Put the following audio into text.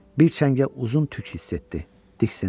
Bir cəngə uzun tük hiss etdi, diksindi.